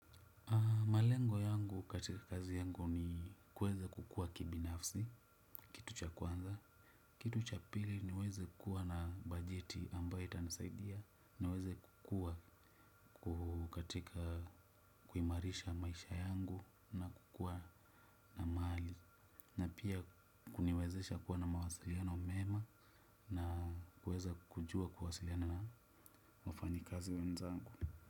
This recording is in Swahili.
Malengo yangu katika kazi yangu ni kuweza kukua kibinafsi kitu cha kwanza. Kitu cha pili niweze kuwa na bajeti ambayo itanasaidia niweze kuwa kukatika kuimarisha maisha yangu na kukua na maali. Na pia kuniwezesha kuwa na mawasiliano mema na kuweza kujua kuwasiliana na wafanyi kazi wenzangu.